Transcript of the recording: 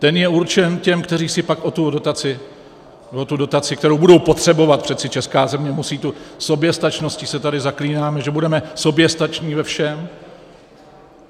Ten je určen těm, kteří si pak o tu dotaci, o tu dotaci, kterou budou potřebovat, přeci česká země musí, tou soběstačností se tady zaklínáme, že budeme soběstační ve všem.